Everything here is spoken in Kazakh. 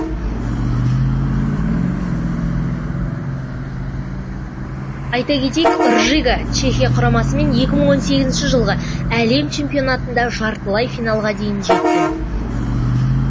айта кетейік ржига чехия құрамасымен екі мың он сегізінші жылғы әлем чемпионатында жартылай финалға дейін жеткен